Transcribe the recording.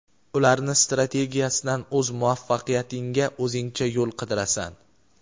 ularni strategiyasidan o‘z muvaffaqiyatingga o‘zingcha yo‘l qidirasan.